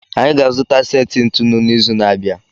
Anyị ga-azụta seti ntụnụ n'izu na-abịa